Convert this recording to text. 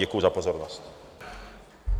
Děkuji za pozornost.